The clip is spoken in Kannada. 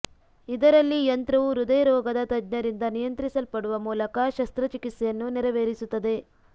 ಇದರಲ್ಲಿ ಯಂತ್ರವು ಹೃದಯ ರೋಗದ ತಜ್ಞರಿಂದ ನಿಯಂತ್ರಿಸಲ್ಪಡುವ ಮೂಲಕ ಶಸ್ತ್ರಚಿಕಿತ್ಸೆಯನ್ನು ನೆರವೇರಿಸುತ್ತದೆ